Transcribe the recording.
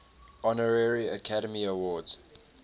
honorary academy award